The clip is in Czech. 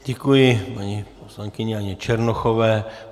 Děkuji paní poslankyni Janě Černochové.